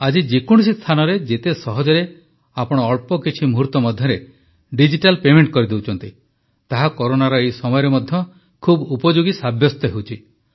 ଆଜି ଯେ କୌଣସି ସ୍ଥାନରେ ଯେତେ ସହଜରେ ଆପଣ ଅଳ୍ପ କିଛି ମୁହୂର୍ତ୍ତ ମଧ୍ୟରେ ଡିଜିଟାଲ୍ ପେମେଣ୍ଟ କରିଦେଉଛନ୍ତି ତାହା କରୋନାର ଏହି ସମୟରେ ମଧ୍ୟ ବହୁତ ଉପଯୋଗୀ ସାବ୍ୟସ୍ତ ହେଉଛି